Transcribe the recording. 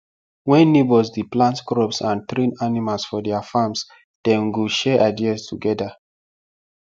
wen neighbours dey plant crops and train animals for their farms dem go share ideas togeda